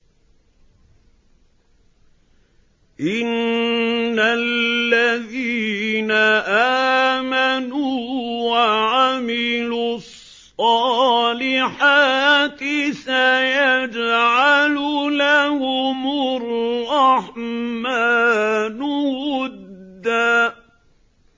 إِنَّ الَّذِينَ آمَنُوا وَعَمِلُوا الصَّالِحَاتِ سَيَجْعَلُ لَهُمُ الرَّحْمَٰنُ وُدًّا